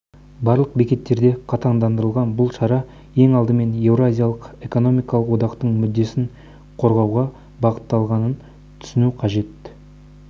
барлық бекеттерде қатаңдатылған бұл шара ең алдымен еуразиялық экономикалық одақтың мүддесін қорғауға бағытталғанын түсіну қажет